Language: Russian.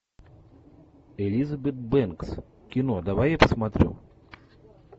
элизабет бэнкс кино давай я посмотрю